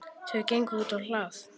Þau gengu útá hlað.